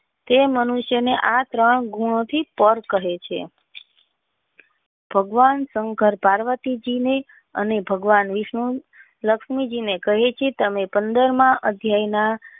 તે મનુષ્ય ને આ ત્રણ ગન થી તર કહે છે ભગવાન સંકર પાર્વતી જી ને અને ભગવાન વિષ્ણુ લક્ષ્મણ હી ને કહે છે અને પંદર ના અભ્યાય માં.